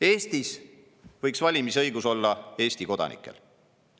Eestis võiks valimisõigus olla Eesti kodanikel.